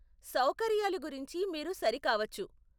సౌకర్యాలు గురించి మీరు సరి కావచ్చు.